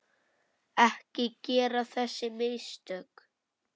Ekki gera þessi mistök.